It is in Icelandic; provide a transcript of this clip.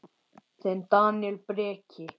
Þinn Daníel Breki.